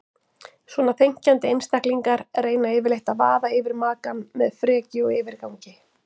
Svona þenkjandi einstaklingar reyna yfirleitt að vaða yfir makann með frekju og yfirgangi.